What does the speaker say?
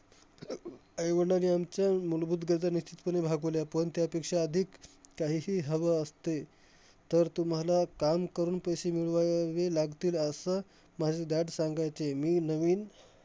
आईवडिलांनी आमच्या मुलभूत गरजा निश्चितपणे भागवल्या. पण त्यापेक्षा अधिक काहीही हवं असते, तर तुम्हाला काम करून पैसे मिळव वावे लागतील. असं माझे dad सांगायचे. मी नवीन